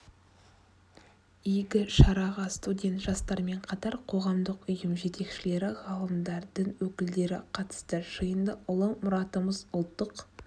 игі шараға студент жастармен қатар қоғамдық ұйым жетекшілері ғалымдар дін өкілдері қатысты жиында ұлы мұратымыз ұлттық